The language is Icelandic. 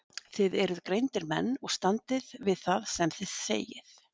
Þið eruð greindir menn og standið við það sem þið segið.